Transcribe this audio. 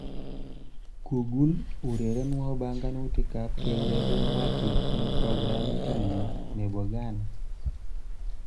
Google urerenwo banganutikab keureren Wacky eng programitnyu nebo Gaana